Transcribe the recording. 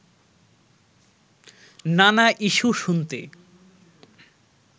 নানা ইস্যু শুনতে